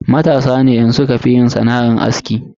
Matasa ne yanxu sukafi yin sana'ar aski.